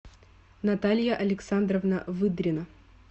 наталья александровна выдрина